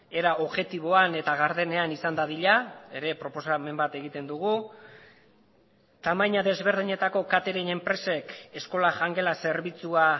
era objektiboan eta gardenean izan dadila ere proposamen bat egiten dugu tamaina desberdinetako catering enpresek eskola jangela zerbitzua